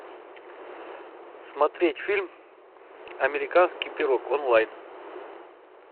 смотреть фильм американский пирог онлайн